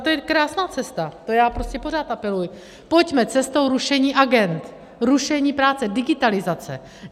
A to je krásná cesta, to já prostě pořád apeluji, pojďme cestou rušení agend, rušení práce, digitalizace.